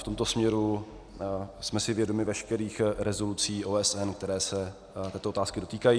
V tomto směru jsme si vědomi veškerých rezolucí OSN, které se této otázky dotýkají.